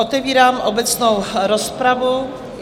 Otevírám obecnou rozpravu.